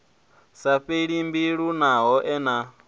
sa fheli mbilu naho ene